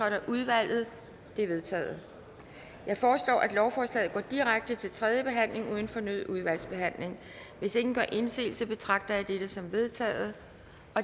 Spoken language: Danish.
af udvalget de er vedtaget jeg foreslår at lovforslaget går direkte til tredje behandling uden fornyet udvalgsbehandling hvis ingen gør indsigelse betragter jeg dette som vedtaget